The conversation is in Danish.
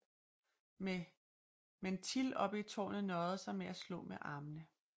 Men Till oppe i tårnet nøjede sig med at slå med armene